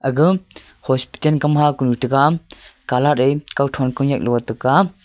agam hospital kam ha kunu tegam color e kao thon kunyak lote tega.